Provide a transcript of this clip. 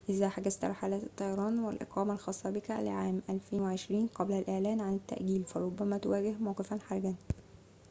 إذا حجزت رحلات الطيران والإقامة الخاصة بك لعام 2020 قبل الإعلان عن التأجيل فربما تواجه موقفاً حرجاً